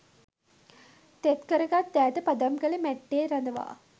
තෙත් කරගත් දෑත පදම්කළ මැට්ටේ රඳවා